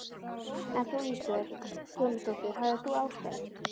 En þú Ísbjörg Guðmundsdóttir, hafðir þú ástæðu?